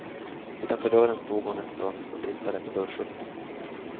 Utanför dörren stod hon en stund och tittade på dörrskylten.